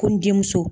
Ko n denmuso